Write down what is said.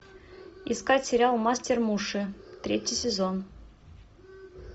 искать сериал мастер муши третий сезон